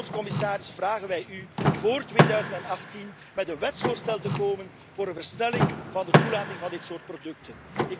En ten slotte, commissaris, vragen wij u voor 2018 met een wetsvoorstel te komen voor een versnelling van de toelating van dit soort producten.